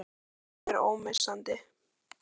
Hvaða hlutur er ómissandi?